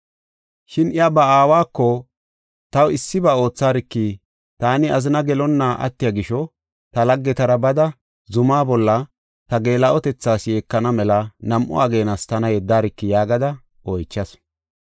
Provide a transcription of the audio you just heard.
Shin iya ba aawako, “Taw issiba ootharki. Taani azina gelonna attiya gisho, ta laggetara bada zumaa bolla ta geela7otethaas yeekana mela nam7u ageenas tana yeddarki” yaagada oychasu.